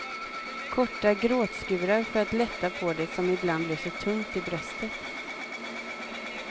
Korta gråtskurar för att lätta på det som ibland blev så tungt i bröstet.